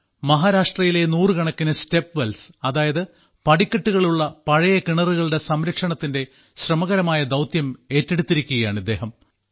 മഹാരാഷ്ട്രയിലെ നൂറുകണക്കിന് സ്റ്റെപ്വെൽസ് അതായത് പടിക്കെട്ടുകളുള്ള പഴയ കിണറുകളുടെ സംരക്ഷണത്തിന്റെ ശ്രമകരമായ ദൌത്യം ഏറ്റെടുത്തിരിക്കുകയാണ് ഇദ്ദേഹം